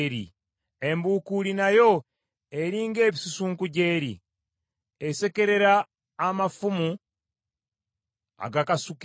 Embukuuli nayo eri ng’ebisusunku gy’eri. Esekerera amafumu agakasukibwa.